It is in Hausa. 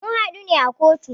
Mun hadu ne a kotu.